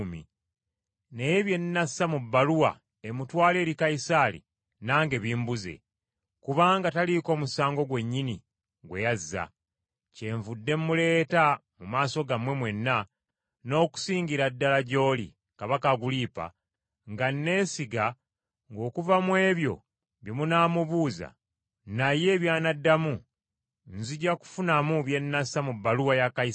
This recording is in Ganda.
Naye bye nnassa mu bbaluwa emutwala eri Kayisaali nange bimbuze, kubanga taliiko musango gwennyini gwe yazza! Kyenvudde muleeta mu maaso gammwe mwenna, n’okusingira ddala gy’oli, Kabaka Agulipa, nga neesiga ng’okuva mu ebyo bye munaamubuuza, naye by’anaddamu, nzija kufunamu bye nnassa mu bbaluwa ya Kayisaali.